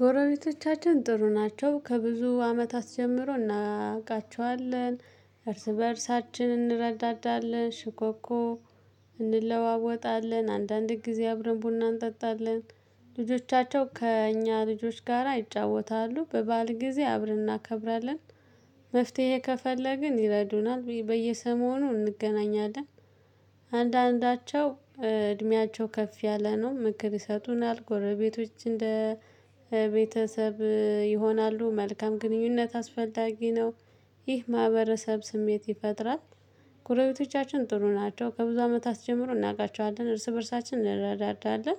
ጎረቤቶቻችን ጥሩ ናቸው ከብዙ አመታት ጀምሮ እናውቃቸዋለን እርስ በእርሳችን እንረዳዳለን ሽኮኮ እንለዋወጣለን አንዳንድ ጊዜ አብረን ቡና እንጠጣለን። ልጆቻቸው ከእኛ ልጆች ጋራ ይጫወታሉ በበዓል ጊዜ አብረን እናከብራለን። መፍትሄ ከፈለግን ይረዱናል በየሰሞኑ እንገናኛለን። አንዳንዳቸው እድሜያቸው ከፍ ያለ ነው ምክር ይሰጡናል። ጎረቤቶች እንደ ቤተሰብ ይሆናሉ። መልካም ግንኙነት አስፈላጊ ነው። ይህ ማህበረሰብ ስሜት ይፈጥራል። ጉረቤቶቻችን ጥሩ ናቸው ከብዙ አመታት ጀምሮ እናቃቸዋለን እርስ በእርሳችን እንረዳዳለን።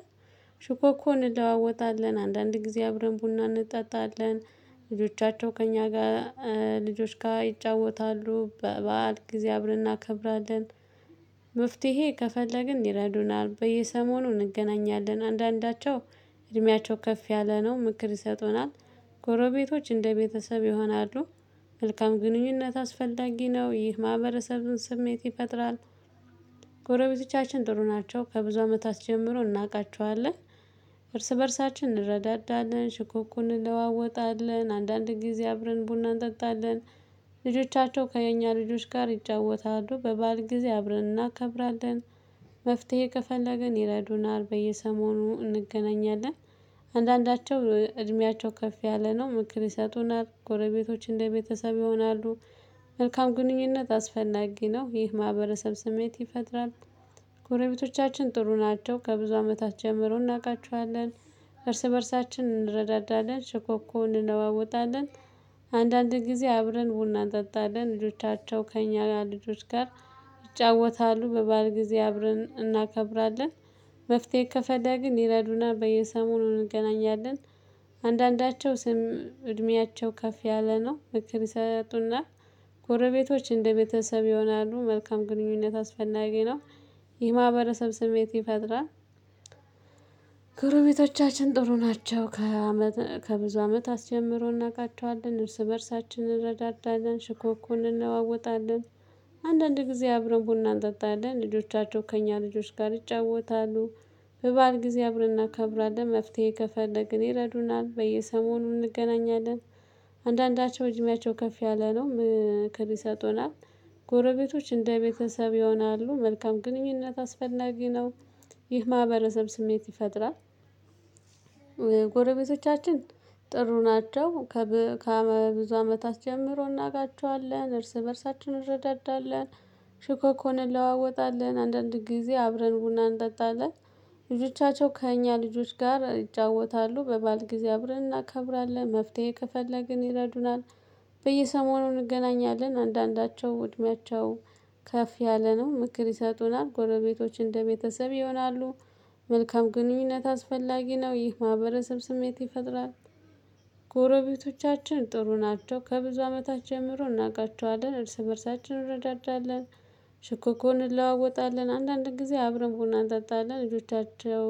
ሽኮኮን እንለዋወጣለን አንዳንድ ጊዜ አብረን ቡና እንጠጣለን። ልጆቻቸው ከእኛ ጋር ልጆች ጋር ይጫወታሉ በበዓል ጊዜ አብረን እናከብራለን። መፍትሄ ከፈለግን ይረዱናል በየሰሞኑ እንገናኛለን። አንዳንዳቸው እድሜያቸው ከፍ ያለ ነው ምክር ይሰጡናል። ጎረቤቶች እንደ ቤተሰብ ይሆናሉ። መልካም ግንኙነት አስፈላጊ ነው ይህ ማህበረሰቡን ስሜት ይፈጥራል። ጎረቤቶቻችን ጥሩ ናቸው ከብዙ አመታት ጀምሮ እናውቃቸዋለን። እርስ በእርሳችን እንረዳዳለን ሽኮኮ እንለዋወጣለን አንዳንድ ጊዜ አብረን ቡና እንጠጣለን። ልጆቻቸው ከእኛ ልጆች ጋር ይጫወታሉ በበዓል ጊዜ አብረን እናከብራለን። መፍትሄ ከፈለግን ይረዱናል በየሰሞኑ እንገናኛለን። አንዳንዳቸው እድሜያቸው ከፍ ያለ ነው ምክር ይሰጡናል። ጎረቤቶች እንደ ቤተሰብ ይሆናሉ። መልካም ግንኙነት አስፈላጊ ነው ይህ ማህበረሰብ ስሜት ይፈጥራል። ጎረቤቶቻችን ጥሩ ናቸው ከብዙ አመታት ጀምሮ እናውቃቸዋለን። እርስ በእርሳችን እንረዳዳለን ሸኮኮውን እንለዋወጣለን። አንዳንድ ጊዜ አብረን ቡና እንጠጣለን ልጆቻቸው ከእኛ ልጆች ጋር ይጫወታሉ በበዓል ጊዜ አብረን እናከብራለን። መፍትሄ ከፈደግን ይረዱና በየሰሞኑ እንገናኛለን። አንዳንዳቸው ስም እድሜያቸው ከፍ ያለ ነው ምክር ይሰጡና። ጎረቤቶች እንደ ቤተሰብ ይሆናሉ። መልካም ግንኙነት አስፈላጊ ነው። የማህበረሰብ ስሜት ይፈጥራል። ጎረቤቶቻችን ጥሩ ናቸው ከአመት ከብዙ አመት አስጀምሮ እናውቃቸዋለን እርስ በእርሳችን እንረዳዳለን ሽኮኮን እንለዋወጣለን። አንዳንድ ጊዜ አብረን ቡና እንጠጣለን ልጆቻቸው ከእኛ ልጆች ጋር ይጫወታሉ። በበዓል ጊዜ አብረን እናከብራለን መፍትሄ ከፈለግን ይረዱናል በየሰሞኑ እንገናኛለን። አንዳንዳቸው እድሚያቸው ከፍ ያለ ነው ምክር ይሰጡናል። ጎረቤቶች እንደ ቤተሰብ ይሆናሉ። መልካም ግንኙነት አስፈላጊ ነው። ይህ ማህበረሰብ ስሜት ይፈጥራል። ጎረቤቶቻችን ጥሩ ናቸው። ከብዙ አመት አስጀምሮ እናቃቸዋለን እርስ በእርሳችን እንረዳዳለን። ሽኮኮን እንለዋወጣለን አንዳንድ ጊዜ አብረን ቡና እንጠጣለን። ልጆቻቸው ከእኛ ልጆች ጋር ይጫወታሉ በበዓል ጊዜ አብረን እናከብራለን መፍትሄ ከፈለግን ይረዱናል። በየሰሞኑ እንገናኛለን። አንዳንዳቸው እድሜያቸው ከፍ ያለ ነው ምክር ይሰጡናል። ጎረቤቶች እንደ ቤተሰብ ይሆናሉ። መልካም ግንኙነት አስፈላጊ ነው ይህ ማህበረሰብ ስሜት ይፈጥራል። ጎረቤቶቻችን ጥሩ ናቸው ከብዙ አመታት ጀምሮ እናውቃቸዋለን እርስ በእርሳችን እንረዳዳለን። ሽኮኮን እንለዋወጣለን አንዳንድ ጊዜ አብረን ቡና እንጠጣለን። ልጆቻቸው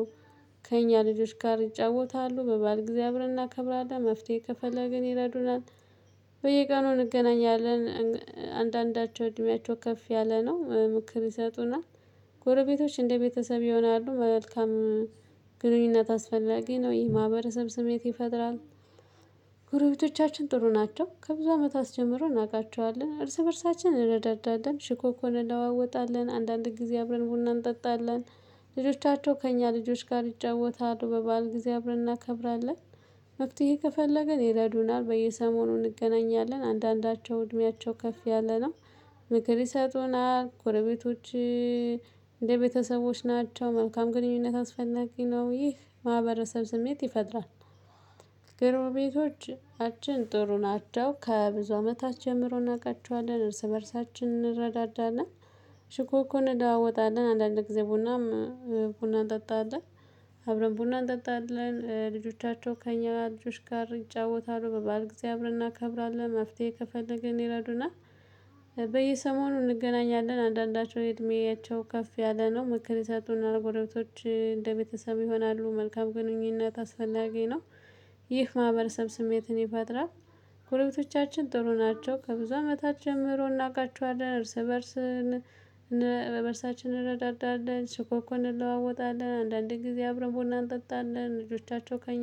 ከእኛ ልጆች ጋር ይጫወታሉ በበዓል ጊዜ አብረን እናከብራለን መፍትሄ ከፈለግን ይረዱናል። በየቀኑ እንገናኛለን። አንዳንዳቸው እድሜያቸው ከፍ ያለ ነው ምክር ይሰጡናል። ጎረቤቶች እንደ ቤተሰብ ይሆናሉ። መልካም ግንኙነት አስፈላጊ ነው። ይህ ማህበረሰብ ስሜት ይፈጥራል። ጉሮቤቶቻችን ጥሩ ናቸው ከብዙ አመታት ጀምሮ እናውቃቸዋለን እርስ በእርሳችን እንረዳዳለን ሽኮኮን እንለዋወጣለን አንዳንድ ጊዜ አብረን ቡና እንጠጣለን። ልጆቻቸው ከእኛ ልጆች ጋር ይጫወታሉ በበዓል ጊዜ አብረን እናከብራለን። መፍትሄ ከፈለግን ይረዱናል በየሰሞኑ እንገናኛለን አንዳንዳቸው እድሜያቸው ከፍ ያለ ነው። ምክር ይሰጡናል ጎረቤቶች። እንደ ቤተሰቦች ናቸው። መልካም ግንኙነት አስፈላጊ ነው። ይህ ማህበረሰብ ስሜት ይፈጥራል። ጎረቤቶችአችን ጥሩ ናቸው ከብዙ አመታች ጀምሮ እናውቃቸዋለን እርስ በእርሳችን እንረዳዳለን። ችኮኮን እናወጣለን አንዳንድ ጊዜ ቡናም ቡና እንጠጣለን። አብረን ቡና እንጠጣለን ልጆቻቸው ከእኛ ልጆች ጋር ይጫወታሉ በባል ጊዜ አብረን እናከብራለን መፍትሄ ከፈለግን ይረዱናል። በየሰሞኑ እንገናኛለን። አንዳንዳቸው እድሜያቸው ከፍ ያለ ነው። ምክር የሰጡና ጎረቤቶች እንደ ቤተሰብ ይሆናሉ። መልካም ግንኙነት አስፈላጊ ነው። ይህ ማህበረሰብ ስሜትን ይፈጥራል። ኮሌቶቻችን ጥሩ ናቸው ከብዙ አመታት ጀምሮ እናውቃቸዋለን እርስ በእርስ በእርሳችን እንረዳዳለን ችኮኮን እንለዋወጣለን አንዳንዴ ጊዜ አብረን ቦና እንጠጣለን ልጆቻቸው ከኛ